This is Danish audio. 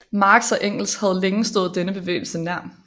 Marx og Engels havde længe stået denne bevægelse nær